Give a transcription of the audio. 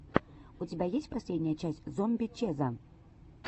у тебя есть последняя часть зомби чеза